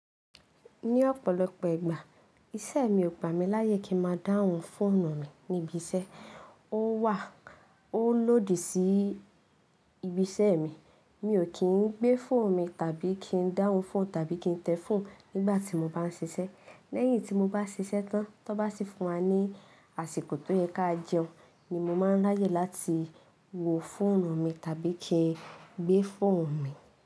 Ní ọ̀pọ̀lọpọ̀ ìgbà iṣẹ́ mi ò gbà mí láyè kí ń máa dáhùn fóònù mi níbi iṣẹ́. Ó wà ó lòdì sí ibi iṣẹ́ mi. Mi ò kí ń gbé phone mi tàbí kí ń dáhùn fóònù tàbí kí ń tẹ fóònù nígbà tí mo bá ń ṣiṣẹ́. Lẹ́yìn tí mo bá ṣiṣẹ́ tán, tó bá sì fún wa ní àsìkò tó yẹ ká jẹun ni mo máa ń láyè láti wo fóònù mi tàbí kí ń gbé fóònù mi.